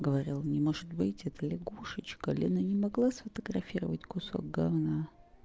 говорил не может быть это лягушечка лена не могла сфотографировать кусок говна